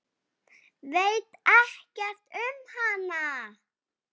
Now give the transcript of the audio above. Veit ekkert um hana.